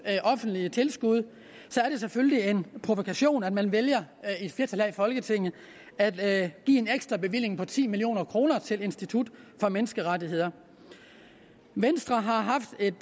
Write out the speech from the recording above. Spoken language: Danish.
offentlige tilskud er det selvfølgelig en provokation at man vælger et flertal her i folketinget at give en ekstra bevilling på ti million kroner til institut for menneskerettigheder venstre har haft et